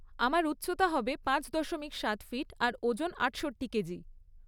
আমার উচ্চতা হবে পাঁচ দশমিক সাত ফিট আর ওজন আটষট্টি কেজি।